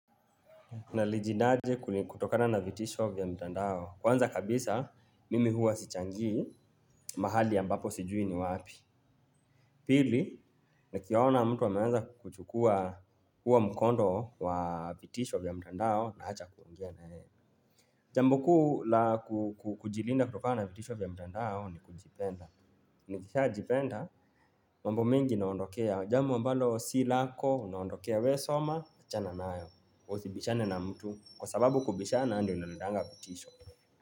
Najilindaje kutokana na vitisho vya mtandao. Kwanza kabisa, mimi huwa sichangii mahali ambapo sijui ni wapi. Pili nikiona mtu ameanza kuchukua huo mkondo wa vitisho vya mtandao naacha kuongea na yeye. Jambo kuu la kujilinda kutokana na vitisho vya mtandao ni kujipenda. Nikishajipenda, mwambo mengi naondokea jambo ambalo si lako, unaondokea wewe soma, achana nayo. Usibishane na mtu. Kwa sababu kubishana ndio inaletanga vitisho.